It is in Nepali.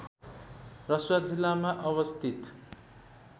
रसुवा जिल्लामा अवस्थित